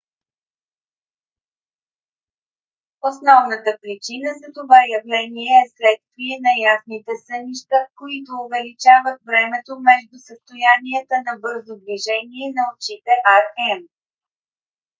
основната причина за това явление е следствие на ясните сънища които увеличават времето между състоянията на бързо движение на очите rem